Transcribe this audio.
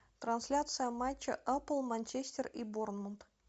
трансляция матча апл манчестер и борнмут